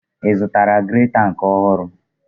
Ị zụtara greta nke a ohuru?